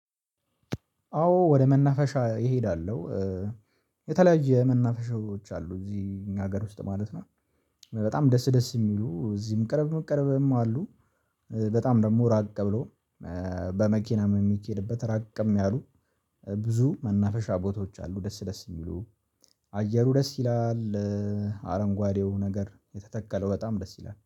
አዎ ወደ መናፈሻ እሄዳለሁ። የተለያየ መናፈሻዎች አሉ እዚህ እኛ ሀገር ውስጥ ማለት ነው። በጣም ደስ ደስ የሚሉ እዚህም ቅርብ ቅርብም አሉ። በጣም ደግሞ ራቅ ብሎ በመኪናም የሚኬድበት ራቅም ያሉ። ብዙ መናፈሻ ቦታዎች አሉ ደስ ደስ የሚሉ። አየሩ ደስ ይላል። አረንጓዴው ነገር የተተከለው በጣም ደስ ይላል